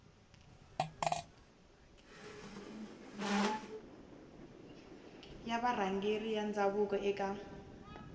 ya varhangeri va ndhavuko eka